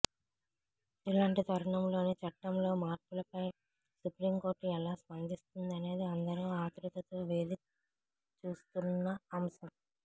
ఇలాంటి తరుణంలో చట్టంలో మార్పులపై సుప్రీంకోర్టు ఎలా స్పందిస్తుందనేది అందరూ ఆతృతతో వేచి చూస్తున్న అంశం